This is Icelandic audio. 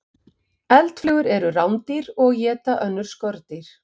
Eldflugur eru rándýr og éta önnur skordýr.